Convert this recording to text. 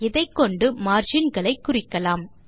இதைக்கொண்டு மார்ஜின் களை குறிக்கலாம்